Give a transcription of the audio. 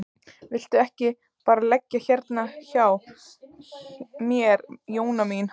Viltu ekki bara leggjast hérna hjá mér Jóra mín.